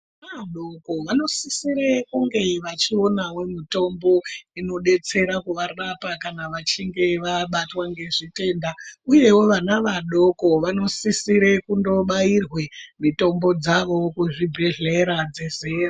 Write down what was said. Vana vadoko vanosisira kunge vachionawo mitombo inodetsera kuvarapa kana vachinge vabatwa nezvitenda uyewo vana vadoko vanosisira kundobairwa mitombo dzawo kuzvibhedhlera.